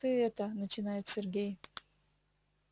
ты это начинает сергей